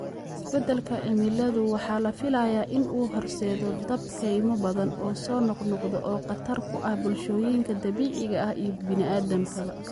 Isbeddelka cimiladu waxa la filayaa in uu horseedo dab kaymo badan oo soo noqnoqda, oo khatar ku ah bulshooyinka dabiiciga ah iyo bini'aadamkaba.